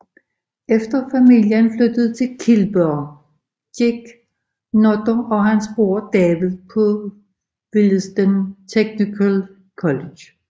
Efter familien flyttede til Kilburn gik Nutter og hans bror David på Willesden Technical College